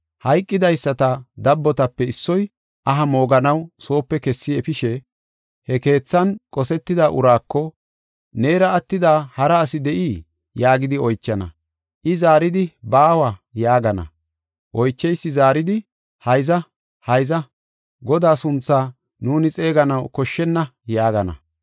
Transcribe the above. Hayqidaysata dabbotape issoy aha mooganaw soope kessi efishe, he keethan qosetida uraako, “Neera attida hara asi de7ii?” yaagidi oychana. I zaaridi, “Baawa” yaagana. Oycheysi zaaridi, “Hayza, hayza! Godaa sunthaa nuuni xeeganaw koshshenna” yaagana.